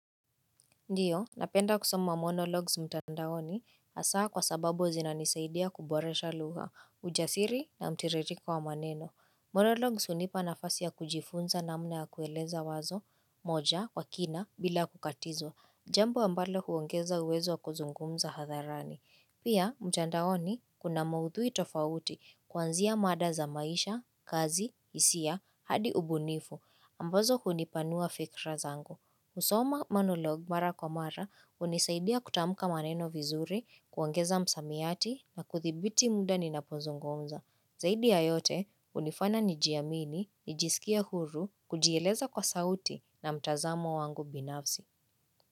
Ndiyo, napenda kusoma monologs mtandaoni, hasa kwa sababu zinani saidia kuboresha lugha, ujasiri na mtiririko wa maneno. Monologs hunipa nafasi ya kujifunza namna ya kueleza wazo, moja, kwa kina, bila kukatizwa, jambo ambalo huongeza uwezo kuzungumza hadharani. Pia, mtandaoni, kuna maudhui tofauti, kwanzia mada za maisha, kazi, hisia, hadi ubunifu, ambazo hunipanua fikra zangu. Kusoma monolog mara kwa mara hunisaidia kutamka maneno vizuri, kuongeza msamiati na kuthibiti muda ninaponzongo unza. Zaidi ya yote hunifana nijiamini, nijisikia huru, kujiyeleza kwa sauti na mtazamo wangu binafsi.